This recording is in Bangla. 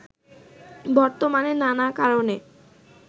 বর্তমানে নানা কারণে